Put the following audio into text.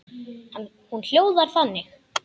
Hún hljóðar þannig: